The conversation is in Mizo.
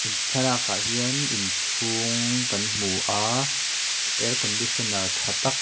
thlalak ah hian inchhung kan hmu a air conditioner tha tak--